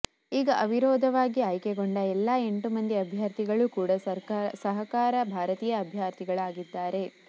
ಈಗ ಅವಿರೋಧವಾಗಿ ಆಯ್ಕೆಗೊಂಡ ಎಲ್ಲಾ ಎಂಟು ಮಂದಿ ಅಭ್ಯರ್ಥಿಗಳು ಕೂಡಾ ಸಹಕಾರ ಭಾರತಿಯ ಅಭ್ಯರ್ಥಿಗಳಾಗಿದ್ದಾರೆ